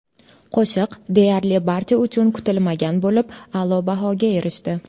Qo‘shiq deyarli barcha uchun kutilmagan bo‘lib, a’lo bahoga erishdi.